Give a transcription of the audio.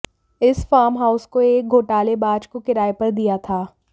इस फॉर्महाउस को एक घोटालेबाज को किराए पर दिया था